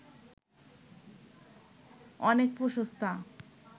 অনেক প্রশস্তা